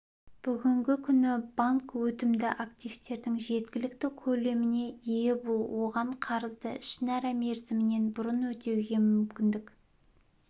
бүгінгі күні банк өтімді активтердің жеткілікті көлеміне ие бұл оған қарызды ішінара мерзімінен бұрын өтеуге мүмкіндік